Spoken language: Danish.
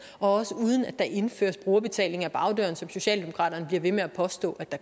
og også uden at der indføres brugerbetaling ad bagdøren som socialdemokraterne bliver ved med at påstå at der